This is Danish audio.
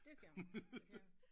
Det skal man altså jeg